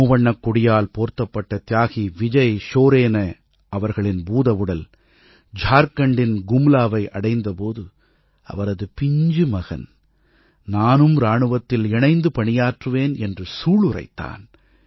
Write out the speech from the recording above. மூவண்ணக் கொடியால் போர்த்தப்பட்ட தியாகி விஜய் ஷோரேன அவர்களின் பூதவுடல் ஜார்க்கண்டின் கும்லாவை அடைந்தபோது அவரது பிஞ்சு மகன் நானும் இராணுவத்தில் இணைந்து பணியாற்றுவேன் என்று சூளுரைத்தான்